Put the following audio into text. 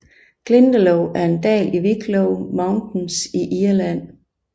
Glendalough er en dal i Wicklow Mountains i Irland